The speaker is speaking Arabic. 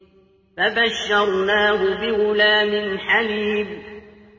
فَبَشَّرْنَاهُ بِغُلَامٍ حَلِيمٍ